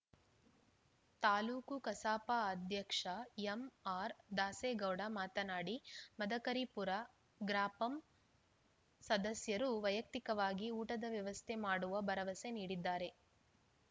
ತಾಲೂಕು ಕಸಾಪ ಅಧ್ಯಕ್ಷ ಎಂಆರ್‌ದಾಸೇಗೌಡ ಮಾತನಾಡಿ ಮದಕರಿಪುರ ಗ್ರಾಪಂ ಸದಸ್ಯರು ವೈಯಕ್ತಿಕವಾಗಿ ಊಟದ ವ್ಯವಸ್ಥೆ ಮಾಡುವ ಭರವಸೆ ನೀಡಿದ್ದಾರೆ